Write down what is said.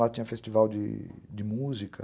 Lá tinha festival de... de música